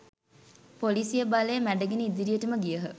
පොලිසිය බලය මැඩගෙන ඉදිරියටම ගියහ.